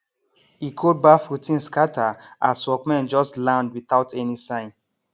e cold baff routine scatter as workmen just land without any sign